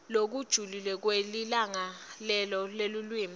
lokujulile kweligalelo lelulwimi